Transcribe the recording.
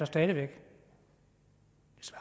stadig væk